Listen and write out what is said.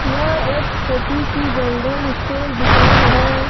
यह एक छोटी सी जनरल स्टोर दुकान है।